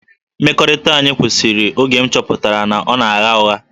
Mmekọrịta anyị kwụsịrị oge m chọpụtara na ọ na-agha ụgha